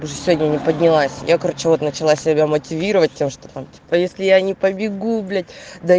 уже сегодня не поднялась я короче вот начала себя мотивировать тем что там что если я не побегу блядь да